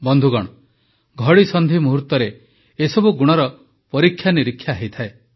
ବନ୍ଧୁଗଣ ଘଡ଼ିସନ୍ଧି ମୁହୂର୍ତ୍ତରେ ଏସବୁ ଗୁଣର ପରୀକ୍ଷା ନିରୀକ୍ଷା ହୋଇଥାଏ